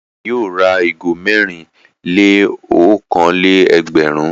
Ìyá rẹ̀ yóò ra ìgò mẹ́rin-lé-okòó-lé-ẹgbẹ̀rún.